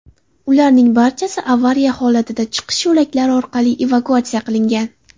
Ularning barchasi avariya holatida chiqish yo‘laklari orqali evakuatsiya qilingan.